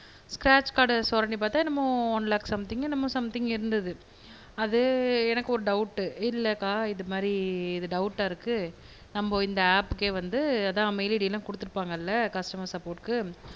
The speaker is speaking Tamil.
ஸ்க்ரேச் கார்ட சொரண்டி பாத்தா என்னமோ ஒன் லேக் சம்திங்க் என்னமோ சம்திங்க் இருந்தது அது எனக்கு ஒரு டௌட்டு இல்லக்கா இது மாதிரி இது டௌட்டா இருக்கு நம்ப இந்த ஆப்கே வந்து அதா மெய்ல் ஐடி எல்லாம் குடுத்துருப்பாங்கள கஸ்டமர் சப்போட்டுக்கு